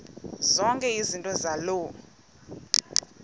zonke izinto zaloo